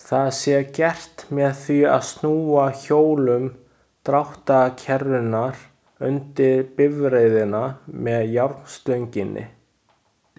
Það sé gert með því að snúa hjólum dráttarkerrunnar undir bifreiðina með járnstönginni.